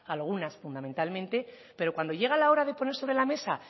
algunas fundamentalmente pero cuando llega la hora de poner sobre la mesa